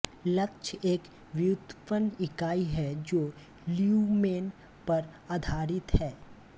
lux एक व्युत्पन्न इकाई है जो ल्यूमेन पर आधारित है